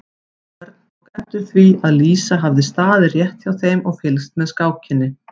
Örn tók eftir því að Lísa hafði staðið rétt hjá þeim og fylgst með skákinni.